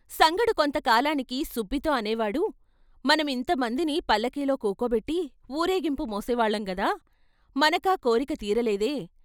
సంగడు కొంతకాలానికి సుబ్బితో అనేవాడు " మనం ఇంత మందిని పల్ల కీలో కుకోబెట్టి వూరేగింపు మోసేవాళ్ళం గదా మనకా కోరిక తీరలేదే?